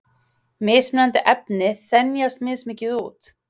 Mismunandi efni þenjast mismikið út.